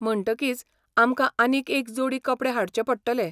म्हणटकीच आमकां आनीक एक जोडी कपडे हाडचे पडटले.